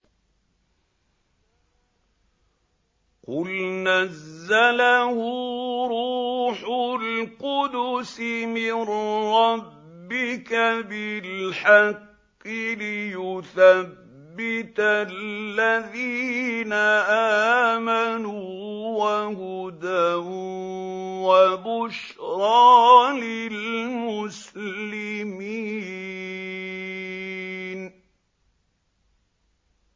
قُلْ نَزَّلَهُ رُوحُ الْقُدُسِ مِن رَّبِّكَ بِالْحَقِّ لِيُثَبِّتَ الَّذِينَ آمَنُوا وَهُدًى وَبُشْرَىٰ لِلْمُسْلِمِينَ